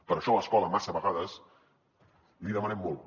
per això a l’escola massa vegades li demanem molt